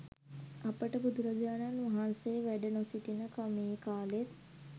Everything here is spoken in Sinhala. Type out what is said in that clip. අපට බුදුරජාණන් වහන්සේ වැඩ නො සිටින මේ කාලෙත්